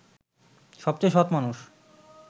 সবচেয়ে সৎ মানুষ